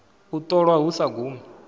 u ṱolwa hu sa gumi